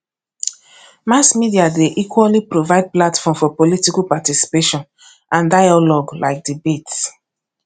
mass media dey equally provide platform for political participation and dailogue like debates